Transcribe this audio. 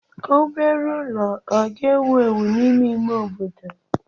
Obere ụlọ ọ ga-ewu ewu n'ime ime obodo?